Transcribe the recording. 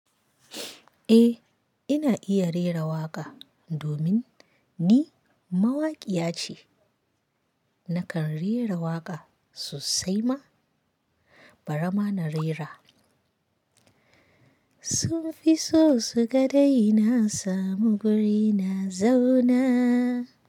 Eh, ina iya rera waƙa domin ni mawaƙiya ce. Nakan rera waƙa sosai ma, bara ma na rera. Sun fi so su ga dai na samu guri na zaunaa!